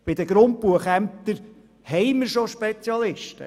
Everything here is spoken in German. Bei den Grundbuchämtern haben wir bereits Spezialisten.